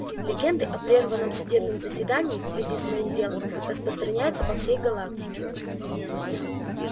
легенды о прерванном судебном заседании в связи с моим делом распространяются по всей галактике